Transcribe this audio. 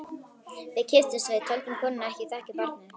Við kipptumst við, töldum konuna ekki þekkja barnið.